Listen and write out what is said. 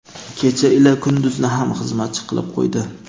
kecha ila kunduzni ham xizmatchi qilib qo‘ydi.